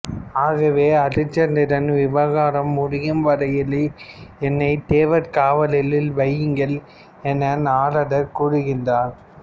ஆகவே அரிச்சந்திரன் விவகாரம் முடியும்வரையில் என்னைத் தேவர் காவலில் வையுங்கள் என நாரதர் கூறுகின்றார்